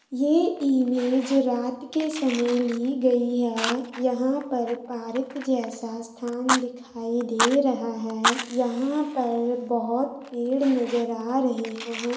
ये इमेज रात के समय ली गई है यहाँ पर पार्क जैसा स्थान दिखाई दे रहा है यहाँ पर बोहत पेड़ नजर आ रहे है।